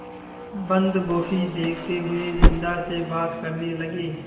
बन्दगोभी देखते हुए बिन्दा से बात करने लगे